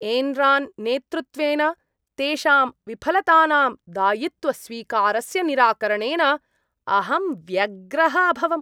Enron नेतृत्वेन तेषां विफलतानां दायित्वस्वीकारस्य निराकरणेन अहं व्यग्रः अभवम्।